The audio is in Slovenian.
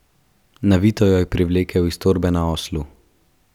Navito jo je privlekel iz torbe na oslu.